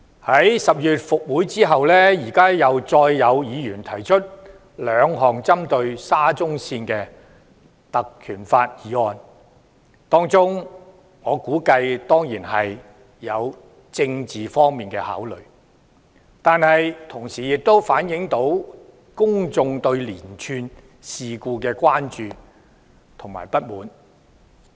在10月復會後，再有議員根據《條例》提出兩項針對沙中線的議案，我估計當中必然有政治方面的考慮，但同時亦反映了公眾對連串事故的關注和不滿。